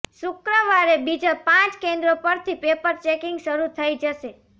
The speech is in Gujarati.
શુક્રવારે બીજા પાંચ કેન્દ્રો પરથી પેપર ચેકિંગ શરૂ થઈ જશે